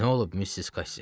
Nə olub, Missis Kassi?